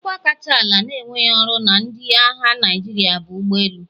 Ọkwa kacha ala na-enweghị ọrụ na ndị agha Naịjirịa bụ ụgbọ elu.